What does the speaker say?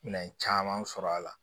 Minɛn caman sɔrɔ a la